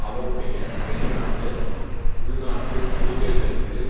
அவருடைய வெளிநாட்டு உள்நாட்டு கொள்கைகளுக்கு